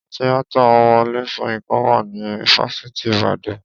Tíátà Wọlé Soyinka wà ní fáfitì ìbàdàn.